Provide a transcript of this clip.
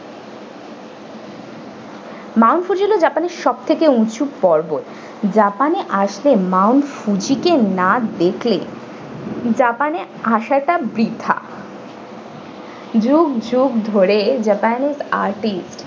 mount fuji হলো japan এর সব থেকে উঁচু পর্বত japan এ আসলে mount fuji কে না দেখলে japan এ আসাটা বৃথা যুগ যুগ ধরে japan এর artist ।